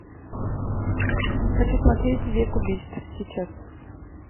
хочу смотреть век убийств сейчас